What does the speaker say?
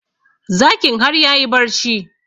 Zakin har yayi barci